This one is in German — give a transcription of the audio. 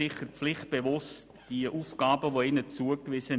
Das wollen wir durchaus attestieren.